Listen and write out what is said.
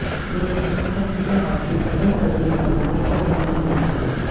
दुर्घटना में फट चुके हार्ट की सफल सर्जरी कर युवक को दी नई जिंदगी